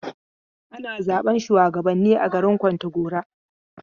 Ana zaɓen shuwagabanni a garin Kontagora.